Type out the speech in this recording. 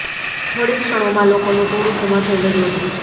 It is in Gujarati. થોડી ક્ષણોમાં લોકોનુ ટોળુ જમા થઇ ગયુ હતું